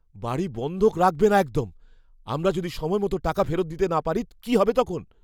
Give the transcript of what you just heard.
বাড়ি বন্ধক রাখবে না একদম। আমরা যদি সময়মতো টাকা ফেরত দিতে না পারি কী হবে তখন?